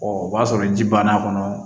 o b'a sɔrɔ ji banna a kɔnɔ